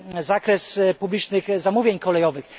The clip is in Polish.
zakres publicznych zamówień kolejowych.